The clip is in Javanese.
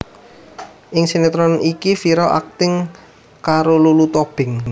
Ing sinétron iki Vira akting karo Lulu Tobing